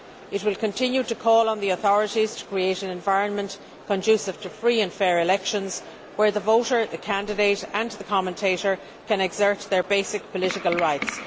It will continue to call on the authorities to create an environment conducive to free and fair elections where the voter, the candidate and the commentator can exert their basic political rights.